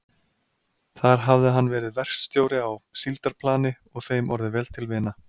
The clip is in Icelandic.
Þar hafði hann verið verkstjóri á síldarplani og þeim orðið vel til vina.